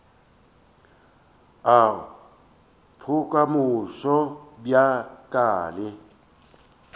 a bokamoso bja ka le